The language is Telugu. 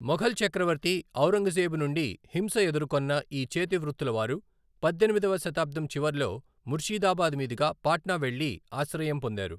మొఘల్ చక్రవర్తి ఔరంగజేబు నుండి హింస ఎదుర్కొన్న ఈ చేతి వృత్తులవారు పద్దెనిమిదవ శతాబ్దం చివర్లో ముర్షిదాబాద్ మీదుగా పాట్నా వెళ్ళి ఆశ్రయం పొందారు.